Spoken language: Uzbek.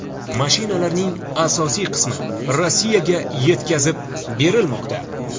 Mashinalarning asosiy qismi Rossiyaga yetkazib berilmoqda.